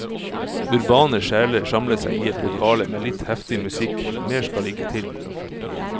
Urbane sjeler samler seg i et lokale med litt heftig musikk, mer skal ikke til.